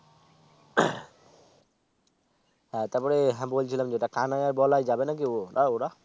হ্যাঁ তারপরে হ্যাঁ বলছিলাম যেটা কানাই আর বলায় যাবে নাকি ও ওরা ওরা